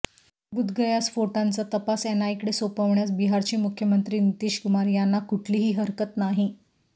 बुद्धगया स्फोटांचा तपास एनआयकडे सोपवण्यास बिहारचे मुख्यमंत्री नितीश कुमार यांना कुठलीही हरकत नाही